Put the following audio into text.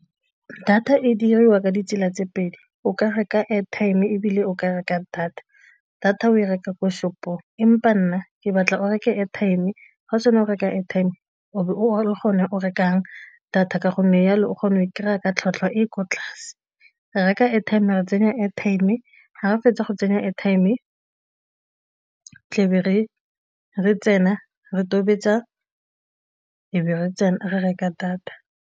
Data e dirisiwa ka ditsela tse pedi, o ka reka airtime ebile o ka reka data, data o e reka ko shop-ong ke batla o reke airtime ga o reke airtime o be o le gone o rekang data ka gonne jalo o kgona go kry-a ka tlhwatlhwa e kwa tlase. Reka airtime, tsenya airtime, ga re fetsa go tsenya airtime ke be re tsena re tobetsa, e be re tsena re reka data.